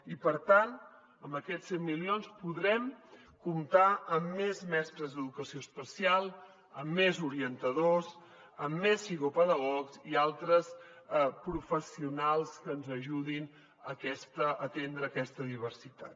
i per tant amb aquests cent milions podrem comptar amb més mestres d’educació especial amb més orientadors amb més psicopedagogs i altres professionals que ens ajudin a atendre aquesta diversitat